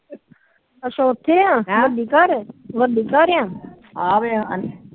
ਅੱਛਾ ਉਥੇ ਆ ਵੱਡੀ ਘਰ ਵੱਡੀ ਘਰ